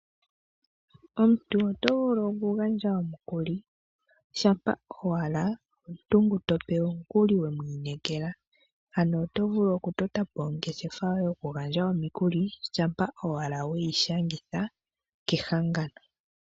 Omuntu oto vulu okugandja omukuli shaa owala omuntu ngu tope omukuli we mwiinekela ano oto vulu okutotapo ongeshefa yoye yokugandja omikuli shaa owala weyi shangitha kehangano.